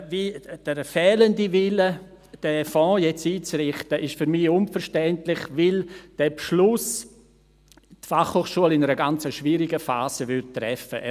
Der fehlende Wille, diesen Fonds nun einzurichten, ist für mich unverständlich, weil dieser Beschluss die BFH in einer ganz schwierigen Phase treffen würde.